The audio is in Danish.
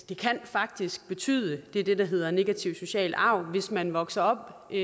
det kan faktisk betyde det er det der hedder negativ social arv at man hvis man vokser op i